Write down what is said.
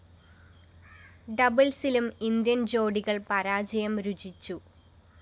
ഡബിള്‍സിലും Indian‍ ജോഡികള്‍ പരാജയം രുചിച്ചു